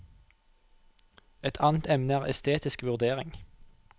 Et annet emne er estetisk vurdering.